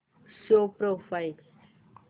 show profile